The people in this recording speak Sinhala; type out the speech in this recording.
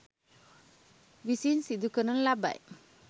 විසින් සිදු කරනු ලබයි.